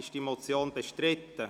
Ist die Motion bestritten?